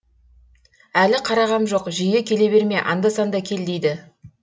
әлі қарағам жоқ жиі келе берме анда санда кел дейді